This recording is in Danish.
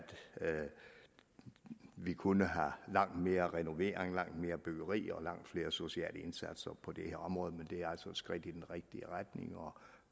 vi kunne have langt mere renovering og nybyggeri og gøre langt flere sociale indsatser på det her område men det er altså et skridt i den rigtige retning og